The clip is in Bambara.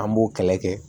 An b'o kɛlɛ kɛ